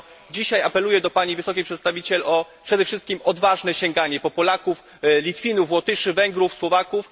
Dlatego dzisiaj apeluję do Pani Wysokiej Przedstawiciel przede wszystkim o odważne sięganie po Polaków, Litwinów, Łotyszy, Węgrów, Słowaków.